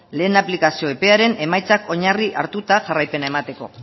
lehen aplikazio epearen emaitzak oinarri hartuta jarraipena emateko